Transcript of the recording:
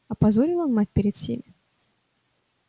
опозорил он мать перед всеми